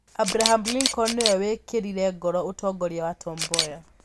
Abraham Lincoln nĩwe wĩkĩrire ngoro ũtongoria wa Tom Mboya.